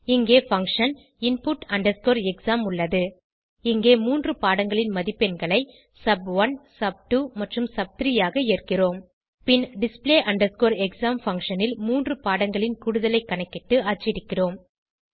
இங்கே function input exam உள்ளது இங்கே மூன்று பாடங்களின் மதிப்பெண்களை சப்1 சப்2 மற்றும் சப்3 ஆக ஏற்கிறோம் பின் display exam பங்ஷன் ல் மூன்று பாடங்களின் கூடுதலை கணக்கிட்டு அச்சடிக்கிறோம்